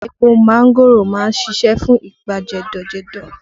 Epo mángòrò má ń ṣiṣẹ́ fún ibà jẹ̀dọ̀ jẹ̀dọ̀